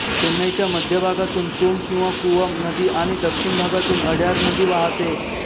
चेन्नईच्या मध्यभागातून कुम किंवा कुवम नदी आणि दक्षिण भागातून अड्यार नदी वाहाते